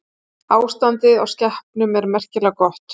Ástandið á skepnum er merkilega gott